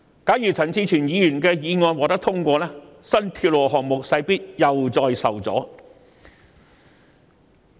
假如陳志全議員的修正案獲得通過，新鐵路項目勢必再次受阻。